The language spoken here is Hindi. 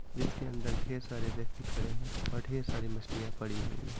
जिसके अंदर ढेर सारे व्यक्ति खड़े हैं और ढेर सारी मछलियां पड़ी हुई है।